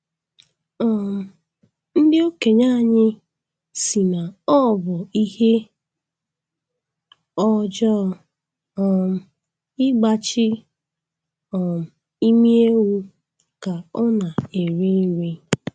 um Ndị okenye anyị sị na ọ bụ ihe ọjọọ um ịgbachi um imi ewu ka ọ na-eri nri.